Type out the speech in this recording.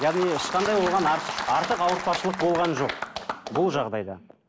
яғни ешқандай оған артық артық ауыртпашылық болған жоқ бұл жағдайда